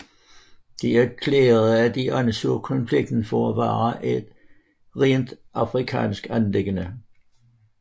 De erklærede at de anså konflikten for at være et rent afrikansk anliggende